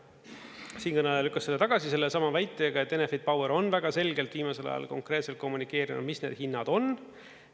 Siinkõneleja lükkas selle tagasi sellesama väitega, et Enefit Power on väga selgelt viimasel ajal konkreetselt kommunikeerinud, mis need hinnad on.